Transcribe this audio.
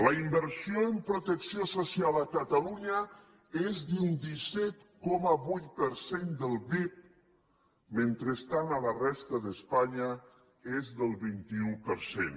la inversió en protecció social a catalunya és d’un disset coma vuit per cent del pib mentrestant a la resta d’espanya és del vint un per cent